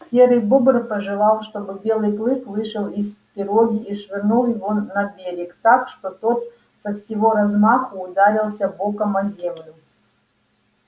серый бобр пожелал чтобы белый клык вышел из пироги и швырнул его на берег так что тот со всего размаху ударился боком о землю